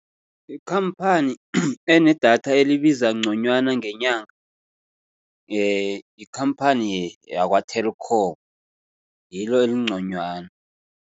Ikhamphani enedatha elibiza nconywana ngenyanga, yikhamphani yakwa-Telkom ngilo elinconywana.